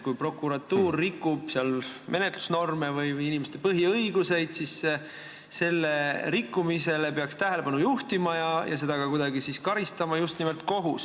Kui prokuratuur rikub menetlusnorme või inimeste põhiõigusi, siis sellele rikkumisele peaks tähelepanu juhtima ja seda peaks just nimelt kohus ka kuidagi karistama.